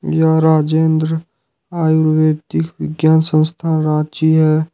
यह राजेंद्र आयुर्वेदिक विज्ञान संस्थान रांची है।